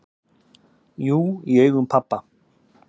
"""Jú, í augum pabba"""